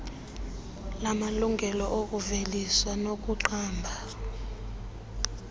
lamalungelo okuvelisa nokuqamba